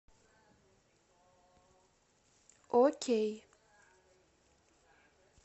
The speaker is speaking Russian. окей